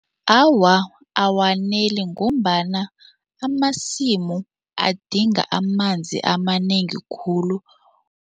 Awa, awaneli ngombana amasimu adinga amanzi amanengi khulu.